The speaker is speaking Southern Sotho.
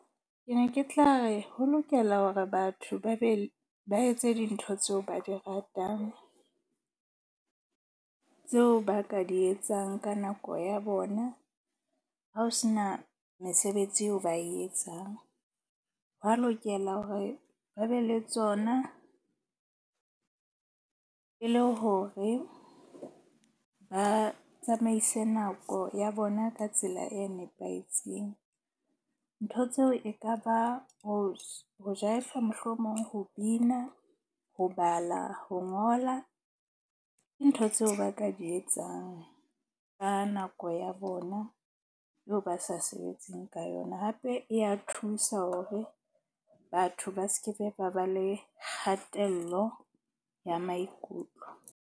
Ke ne ke tla re ho lokela hore batho ba be ba etse dintho tseo ba di ratang. Tseo ba ka di etsang ka nako ya bona. Ha ho sena mesebetsi eo ba e etsang, hwa lokela hore ba be le tsona e le hore ba tsamaise nako ya bona ka tsela e nepahetseng. Ntho tseo e ka ba ho jaefa, mohlomong ho bina, ho bala, ho ngola. Ke ntho tseo ba ka di etsang ka nako ya bona. Eo ba sa sebetseng ka yona, hape e ya thusa hore batho ba se ke be ba ba le kgatello ya maikutlo.